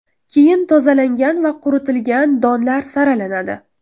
Keyin tozalangan va quritilgan donlar saralanadi.